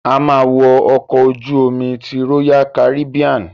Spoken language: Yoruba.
A ma wo ọkọ̀ ojú omi ti royal Caribbean.